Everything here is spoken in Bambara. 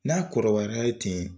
N'a kɔrɔbayara ten